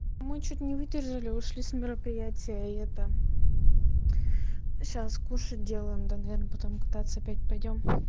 мы чуть не выдержали ушли с мероприятия и это а сейчас кушать делаем да наверное потом кататься опять пойдём